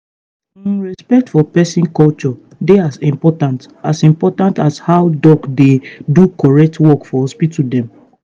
hmmm respect for peson culture dey as important as important as how doc dey do correct work for hospital dem.